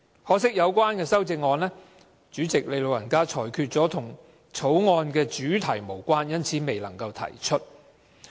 可惜該修正案被主席"老人家"裁決為與《條例草案》的主題無關而未能提出。